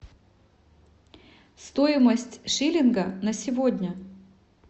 стоимость шиллинга на сегодня